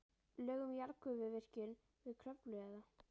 Lög um jarðgufuvirkjun við Kröflu eða